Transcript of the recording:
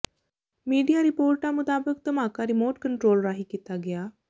media ਰਿਪੋਰਟਾਂ ਮੁਤਾਬਿਕ ਧਮਾਕਾ ਰਿਮੋਟ ਕੰਟਰੋਲ ਰਾਹੀ ਕੀਤਾ ਗਿਆ